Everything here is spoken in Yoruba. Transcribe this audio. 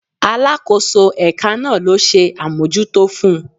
Alakoso eka naa lo se amojuto fun